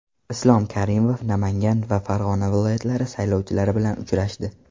Islom Karimov Namangan va Farg‘ona viloyatlari saylovchilari bilan uchrashdi.